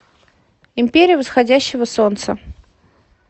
империя восходящего солнца